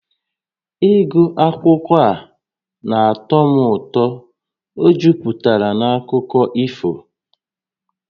Ịgụ akwụkwọ a na-atọ m ụtọ, ọ juputara na akụkọ ifo